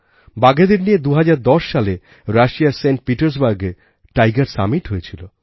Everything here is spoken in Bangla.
বাঘেদের নিয়ে ২০১০সালে রাশিয়ার সেন্টপিটার্সবার্গে টাইগার সামিট হয়েছিল